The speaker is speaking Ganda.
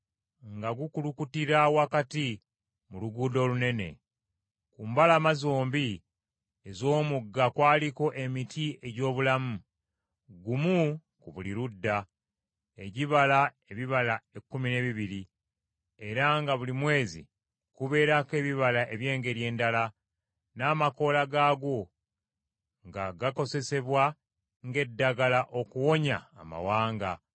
nga gukulukutira wakati mu luguudo olunene. Ku mbalama zombi ez’omugga kwaliko emiti egy’obulamu, gumu ku buli ludda, egibala ebibala ekkumi n’ebibiri era nga buli mwezi kubeerako ebibala eby’engeri endala; n’amakoola gaagwo nga gakozesebwa ng’eddagala okuwonya amawanga.